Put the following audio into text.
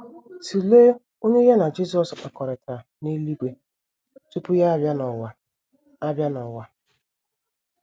* Tụlee onye ya na Jisọs kpakọrịtara n’eluigwe tupu ya abịa n’ụwa abịa n’ụwa.